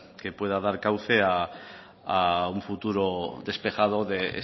que pueda dar cauce a un futuro despejado de